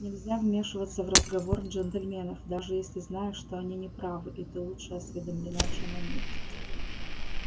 нельзя вмешиваться в разговор джентльменов даже если знаешь что они не правы и ты лучше осведомлена чем они